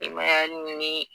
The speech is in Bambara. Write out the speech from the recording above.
I m'a ye ali ni.